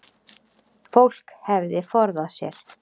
Fólk hefði forðað sér